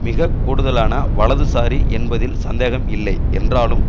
மிக கூடுதலான வலதுசாரி என்பதில் சந்தேகம் இல்லை என்றாலும்